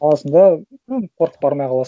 аласың да ну қорқып бармай қаласың